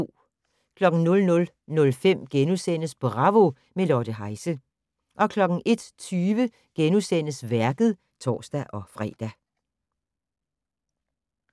00:05: Bravo - med Lotte Heise * 01:20: Værket *(tor-fre)